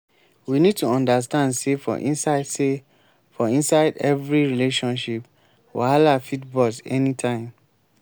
we need to understand sey for inside sey for inside every relationship wahala fit burst anytime